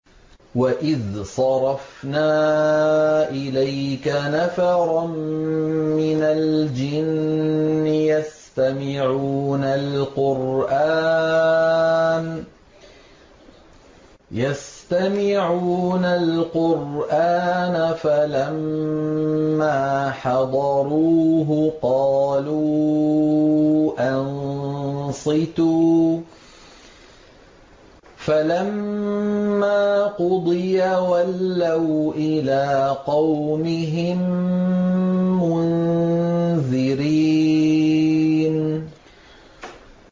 وَإِذْ صَرَفْنَا إِلَيْكَ نَفَرًا مِّنَ الْجِنِّ يَسْتَمِعُونَ الْقُرْآنَ فَلَمَّا حَضَرُوهُ قَالُوا أَنصِتُوا ۖ فَلَمَّا قُضِيَ وَلَّوْا إِلَىٰ قَوْمِهِم مُّنذِرِينَ